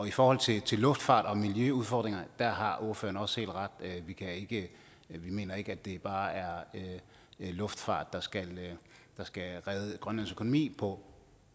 i forhold til til luftfart og miljøudfordringer har ordføreren også helt ret vi mener ikke at det bare er luftfart der skal redde grønlands økonomi på